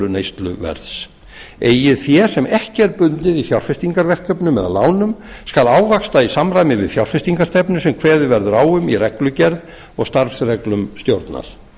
neysluverðs eigið fé sem ekki er bundið í fjárfestingarverkefnum eða lánum skal ávaxta í samræmi við fjárfestingarstefnu sem kveðið verður á um í reglugerð og starfsreglum stjórnar